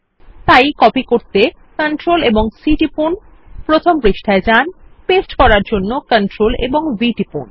তাই কপি করতে Ctrl ও C টিপুন প্রথম পৃষ্ঠায় যান পেস্ট করার জন্য Ctrl ও V টিপুন